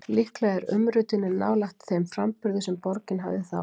Líklega er umritunin nálægt þeim framburði sem borgin hafði þá.